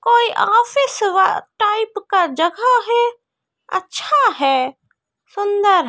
कोई ऑफिस वटाइप का जगह है अच्छा है सुंदर है।